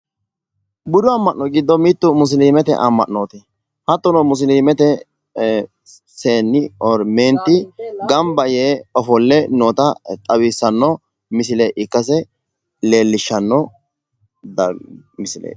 budu ama'no giddo mitte musilimete ama'nooti hattono musilimete seenni ganba yee ofolle noota leellishshanno misileeti.